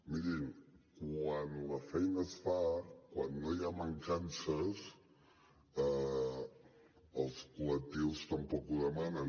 mirin quan la feina es fa quan no hi ha mancances els col·lectius tampoc ho demanen